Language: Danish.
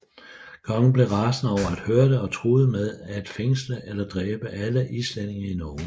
Kongen blev rasende over at høre det og truede med at fængsle eller dræbe alle islændinge i Norge